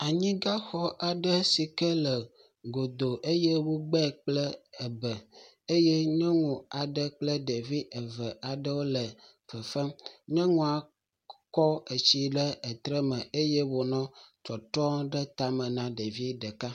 Anyigaxɔ aɖe si ke godoo eye wogbɛ kple ebe eye nyɔnu aɖe kple ɖevi eve aɖewo le fefem. Nyɔnua kɔ etsi le etre me eye wònɔ tɔtrɔɔ ɖe tame na ɖevi ɖeka.